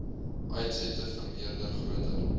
uitsette vermeerder groter